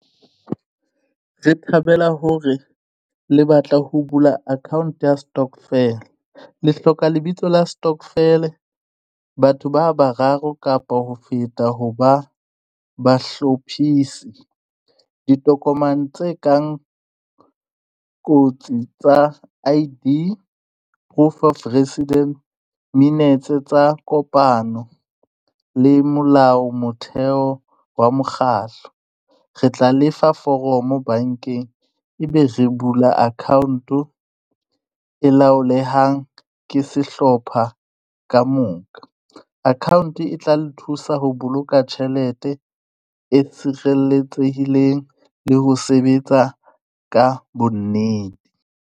Re thabela hore le batla ho bula account ya stokvel, le hloka lebitso la stokvel. Batho ba bararo kapa ho feta ho ba bahlophisi. Ditokomane tse kang kotsi tsa I_D, proof of resident, minetse tsa kopano le molao motheo wa mokgahlo. Re tla le fa foromo bank-eng e be re bula account e laolehang ke sehlopha ka moka. Account e tla le thusa ho boloka tjhelete e tshireletsehileng le ho sebetsa ka bo nnete.